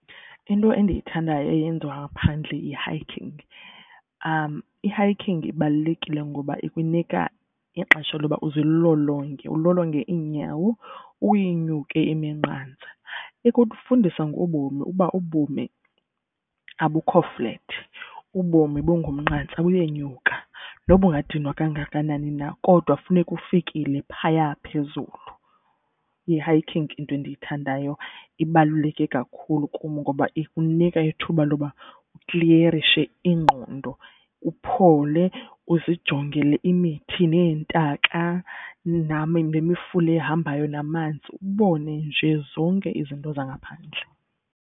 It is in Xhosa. Into endiyithandayo eyenziwa ngaphandle yi-hiking. I-hiking ibalulekile ngoba ikunika ixesha loba uzilolonge ulolonge iinyawo uyinyuke iminqantsa. Ikufundisa ngobomi uba ubomi abukho flat, ubomi bungumnqantsa, buyenyuka. Noba ungadinwa kangakanani na kodwa funeka ufikile phaya phezulu. Yi-hiking into endiyithandayo ibaluleke kakhulu kum ngoba ikunika ithuba loba ukliyerishe ingqondo, uphole uzijongele imithi neentaka nemifula ehambayo namanzi ubone nje zonke izinto zangaphandle.